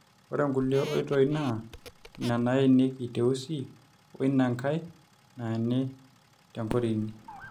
ore nkulie oitoi naa ina naenieki teusi oina nkai naeni tenkorini